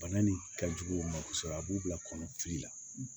Bana nin ka jugu o ma kosɛbɛ a b'u bila kɔnɔti la